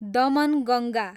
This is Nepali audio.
दमनगङ्गा